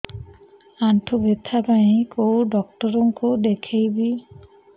ଆଣ୍ଠୁ ବ୍ୟଥା ପାଇଁ କୋଉ ଡକ୍ଟର ଙ୍କୁ ଦେଖେଇବି